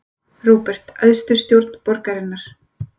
Róbert: Æðstu stjórn borgarinnar?